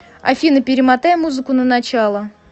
афина перемотай музыку на начало